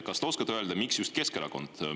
Kas te oskate öelda, miks just Keskerakond?